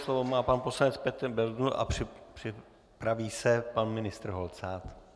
Slovo má pan poslanec Petr Bendl a připraví se pan ministr Holcát.